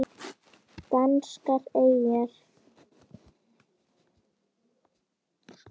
Danskar eyjar